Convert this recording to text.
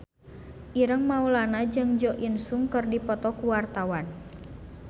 Ireng Maulana jeung Jo In Sung keur dipoto ku wartawan